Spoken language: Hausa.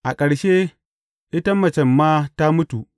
A ƙarshe, ita macen ma ta mutu.